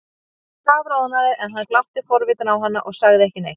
Hún kafroðnaði en hann glápti forvitinn á hana og sagði ekki neitt.